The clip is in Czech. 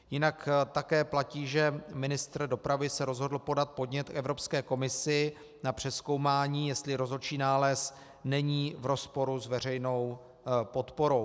Jinak také platí, že ministr dopravy se rozhodl podat podnět k Evropské komisi na přezkoumání, jestli rozhodčí nález není v rozporu s veřejnou podporou.